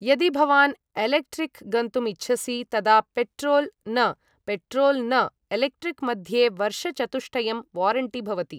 यदि भवान् एलेक्ट्रिक् गन्तुम् इच्छसि तदा पेट्रोल् न पेट्रोल् न एलेक्ट्रिक् मध्ये वर्षचतुष्टयं वारेण्टि भवति